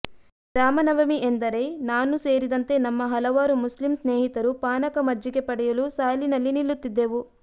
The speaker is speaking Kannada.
ರಾಮನವಮಿ ಎಂದರೆ ನಾನು ಸೇರಿದಂತೆ ನಮ್ಮ ಹಲವಾರು ಮುಸ್ಲಿಂ ಸ್ನೇಹಿತರು ಪಾನಕ ಮಜ್ಜಿಗೆ ಪಡೆಯಲು ಸಾಲಿನಲ್ಲಿ ನಿಲ್ಲುತ್ತಿದ್ದೆವು